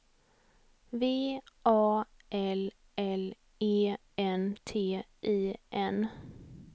V A L L E N T I N